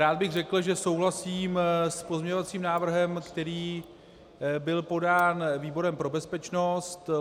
Rád bych řekl, že souhlasím s pozměňovacím návrhem, který byl podán výborem pro bezpečnost.